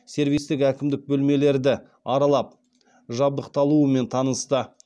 сервистік әкімдік бөлмелерді аралап жабдықталуымен танысты